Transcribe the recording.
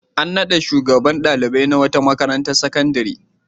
An naɗa shugaban ɗalibai na wata makarantar sakandare.